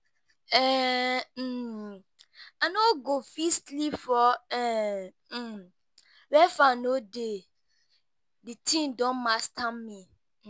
um I no go fit sleep for um where fan no dey, the thing don master me.